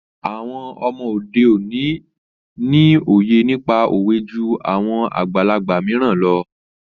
Àwọn ọmọ òde òní ni òye nípa òwe jú àwọn àgbàlagbà mìíràn lọ.